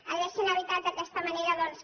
haurien evitat d’aquesta manera doncs